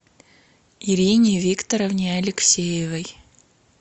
ирине викторовне алексеевой